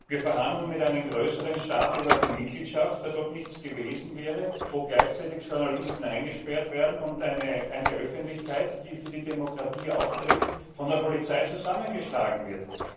Wir verhandeln mit einem größeren Staat über die Mitgliedschaft, als ob nichts gewesen wäre, wo gleichzeitig Journalisten eingesperrt werden und eine Öffentlichkeit, die für die Demokratie eintritt, von der Polizei zusammengeschlagen wird.